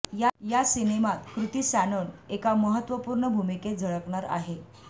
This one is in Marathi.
या सिनेमात कृती सॅनोन एका महत्वपूर्ण भूमिकेत झळकणार आहे